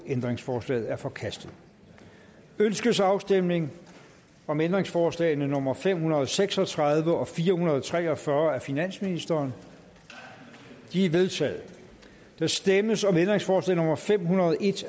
ændringsforslaget er forkastet ønskes afstemning om ændringsforslag nummer fem hundrede og seks og tredive og fire hundrede og tre og fyrre af finansministeren de er vedtaget der stemmes om ændringsforslag nummer fem hundrede og en